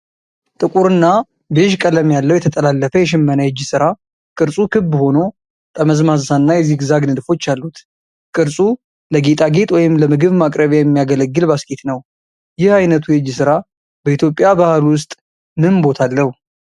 ጥቁር እና ቤዥ ቀለም ያለው የተጠላለፈ የሽመና የእጅ ሥራ። ቅርጹ ክብ ሆኖ ጠመዝማዛ እና የዚግዛግ ንድፎች አሉት። ቅርጹ ለጌጣጌጥ ወይም ለምግብ ማቅረቢያ የሚያገለግል ባስኬት ነው። ይህ ዓይነቱ የእጅ ሥራ በኢትዮጵያ ባህል ውስጥ ምን ቦታ አለው?